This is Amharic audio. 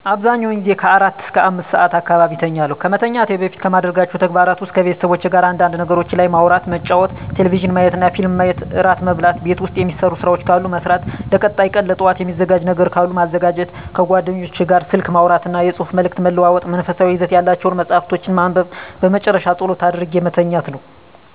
አብዛኛውን ጊዜ ከአራት እስከ አምስት ሰዓት አካባቢ እተኛለሁ። ከመተኛቴ በፊት ከማደርጋቸው ተግባራት ውስጥ ከቤተሰቦቼ ጋር አንዳንድ ነገሮች ላይ ማውራት መጫወት ቴሌቪዥን ማየትና ፊልም ማየት እራት መብላት ቤት ውስጥ የሚሰሩ ስራዎች ካሉ መስራት ለቀጣይ ቀን ለጠዋት የሚዘጋጅ ነገሮች ካሉ ማዘጋጀት ከጓደኞቼ ጋር ስልክ ማውራትና የፅሁፍ መልዕክት መለዋወጥ መንፈሳዊ ይዘት ያላቸውን መፃሀፍቶችን ማንበብ በመጨረሻ ፀሎት አድርጌ መተኛት ነው።